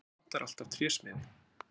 Það vantar alltaf trésmiði!